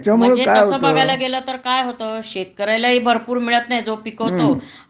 म्हणजे तस बघायला गेलं तर काय होत शेतकऱ्यालाही भरपूर मिळत नाही जो पिकवतो